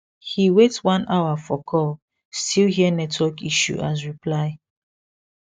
he wait one hour for call still hear network issue as reply